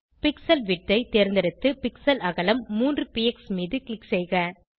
pixel width ஐ தேர்ந்தெடுத்து pixel அகலம் 3 பிஎக்ஸ் மீது க்ளிக் செய்க